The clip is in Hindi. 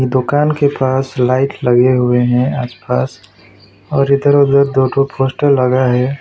दुकान के पास लाइट लगें हुए हैं आस पास और इधर उधर दो ठो पोस्टर लगा हैं।